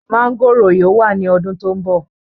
Máńgòrò yóò wá ní ọdún tó ń bọ̀.